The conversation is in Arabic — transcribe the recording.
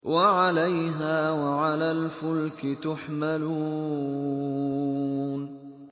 وَعَلَيْهَا وَعَلَى الْفُلْكِ تُحْمَلُونَ